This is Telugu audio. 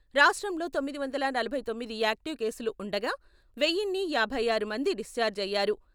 రాష్ట్రంలో తొమ్మిది వందల నలభై తొమ్మిది యాక్టివ్ కేసులు ఉండగా, వెయిన్నీ యాభై ఆరు మంది డిశ్చార్జ్ అయ్యారు.